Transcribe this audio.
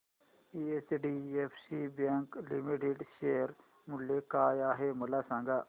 HDFC bank limited share मूल्य काय आहे मला सांगा